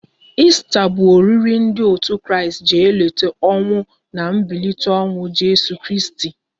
Esta bụ oriri ndị otu Kristi ji elota ọnwụ na mbilite n'ọnwụ Jeso Kristi